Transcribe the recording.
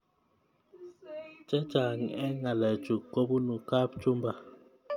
Chechang eng ngalechu kobunu kapchumba